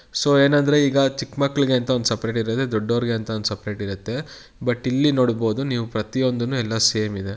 So ಏನಂದ್ರೆ ಈಗ ಚಿಕ್ಕ ಮಕ್ಕಳಿಗೆ ಅಂತ ಒಂದು ಸಪರೇಟ್ ಇರುತ್ತೆ ದೊಡ್ಡವರಿಗೆ ಅಂತ ಒಂದು ಸಪರೇಟ್ ಇರುತ್ತೆ ಬಟ್ ಇಲ್ಲಿ ನೋಡಬಹುದು ನೀವು ಪ್ರತಿಯೊಂದುನು ಎಲ್ಲಾ ಸೇಮ್ ಇದೆ .